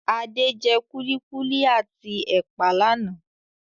Adé jẹ kulikuli at ẹ̀pà lànà